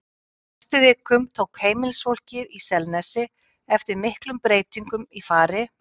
Á næstu vikum tók heimilisfólkið í Selnesi eftir miklum breytingum í fari